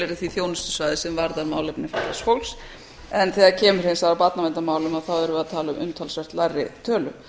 tilheyra því þjónustusvæði sem varða málefni fatlaðs fólks en þegar kemur hins vegar að barnaverndarmálum þá erum við að tala um umtalsvert lægri tölu